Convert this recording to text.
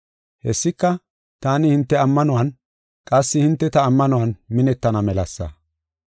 Hessika, taani hinte ammanuwan, qassi hinte ta ammanuwan minettana melasa.